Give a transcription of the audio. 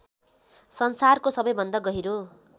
संसारको सबैभन्दा गहिरो